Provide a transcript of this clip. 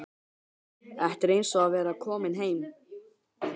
Þetta er eins og að vera kominn heim.